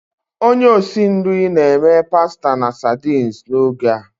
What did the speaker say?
Onye osi nri na-eme pasta na sardines n'oge a.